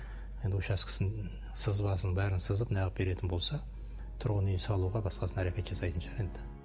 енді учаскесін сызбасын бәрін сызып неғып беретін болса тұрғын үй салуға басқасына әрекет жасайтын шығар енді